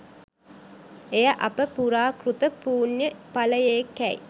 එය අප පුරාකෘත පුණ්‍ය ඵලයෙකැයි